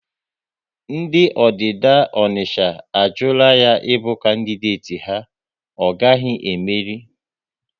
Ndị Ọdida Ọnicha a jula ya ịbụ kandideti ha, ọ gaghị e meri!